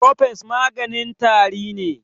Cofex maganin tari ne.